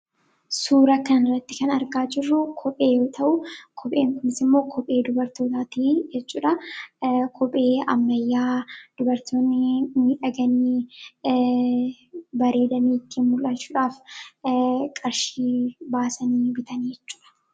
suura kan ratti kan argaa jirruu kophee ta'u kophee umis immoo kophee dubartootaatii eccuudha kophee ammayyaa dubartootni ni dhaganii baree damiiki mul'aalchuudhaaf qarshii baasanii bitanii cura